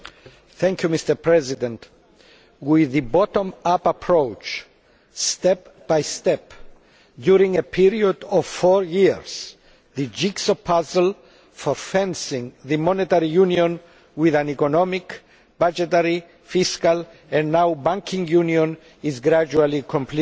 Mr President, with the bottom up approach, step by step, during a period of four years, the jigsaw puzzle for fencing the monetary union with an economic, budgetary, fiscal and now banking union is gradually being completed.